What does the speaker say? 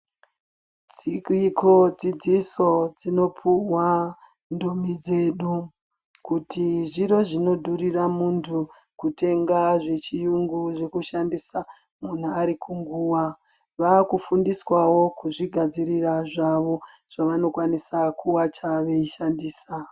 Dziriko dzidziso dzinopiwa ndumi dzedu kuti zviro zvinodhuria muntu kutenga zvechiyungu zvekushandisa munhu arikunguva. Vakufundiswawo kuzvigadzirira zvavo zvavanokwanisa kuwacha veishandisa.